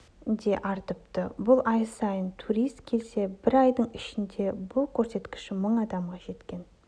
де артыпты бұрын ай сайын турист келсе бір айдың ішінде бұл көрсеткіш мың адамға жеткен